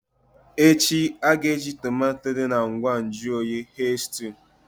Echi nke tomato tapawa na ngwa nju oyi ga-eghe maka stew.